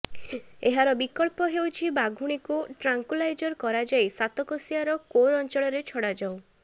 ଏହାର ବିକଳ୍ପ ହେଉଛି ବାଘୁଣୀକୁ ଟ୍ରାଙ୍କୁଲାଇଜ କରାଯାଇ ସାତକୋଶିଆର କୋର ଅଞ୍ଚଳରେ ଛଡ଼ାଯାଉ